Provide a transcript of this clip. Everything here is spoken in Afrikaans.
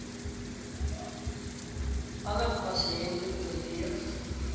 alle pasiënte oorleef